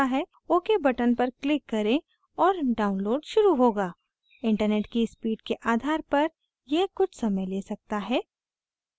ok button पर click करें और download शुरू होगा internet की speed के आधार पर यह कुछ समय ले सकता है